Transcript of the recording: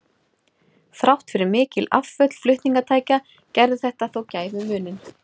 Þrátt fyrir mikil afföll flutningatækja gerði þetta þó gæfumuninn.